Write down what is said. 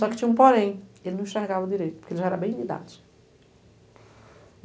Só que tinha um porém, ele não enxergava direito, porque ele já era bem limitado.